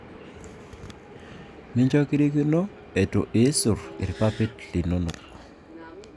Mincho kirikino iisuur ipapit linono